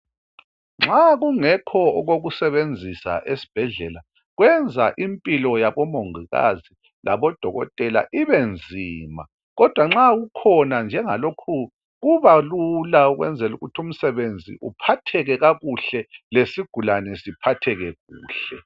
Nxa kungekho okokusebenzisa esibhedlela kwenza impilo yabo mongikazi labo dokotela ibe nzima kodwa nxa kukhona njengalokhu kubalula ukwenzela ukuthi umsebenzi uphatheke kakuhle lesigulane siphatheke kuhle.